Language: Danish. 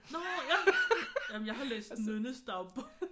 Nå ja! Jamen jeg har læst Nynnes dagbog